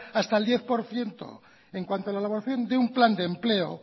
hasta el diez por ciento en cuanto a la elaboración de un plan de empleo